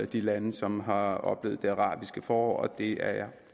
de lande som har oplevet det arabiske forår og det er jeg